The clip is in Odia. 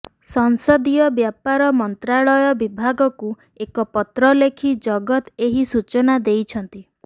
ସଂସଦୀୟ ବ୍ୟାପାର ମନ୍ତ୍ରାଳୟ ବିଭାଗକୁ ଏକ ପତ୍ର ଲେଖି ଜଗନ ଏହି ସୂଚନା ଦେଇଛନ୍ତି